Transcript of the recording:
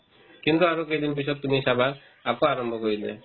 কিন্তু আৰু কেইদিন পিছত তুমি চাবা আকৌ আৰম্ভ কৰি দিয়ে